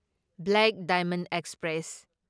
black diamond express